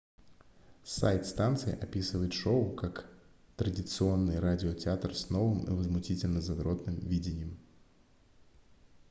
сайт станции описывает шоу как традиционный радиотеатр с новым и возмутительно задротным видением